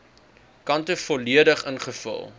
kante volledig ingevul